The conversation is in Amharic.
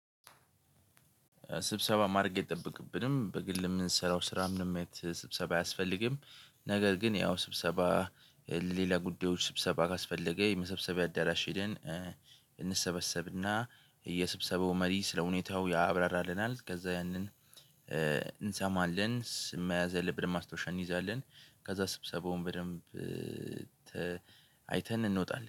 ስብሰባ ማድረግ አይጠበቅብንም በግል የምንሰራው ስራ ምንም ስብሰባ አያስፈልግም። ነገር ግን ያው ስብሰባ ሌላ ጉዳዮች ስብሰባ ካስፈለገ የመሰብሰቢያ አዳራሽ ሄደን የስብሰበው መሪ ስለሁኔታው ያብራራልናል ከዛ ያንን እንሰማለን መያዝ ያለንብንን ማስታወሻ እንይዛለን። ከዛ ስብሰባውን በደንብ አይተን እንወጣለን